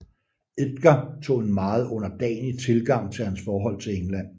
Edgar tog en meget underdanig tilgang til hans forhold til England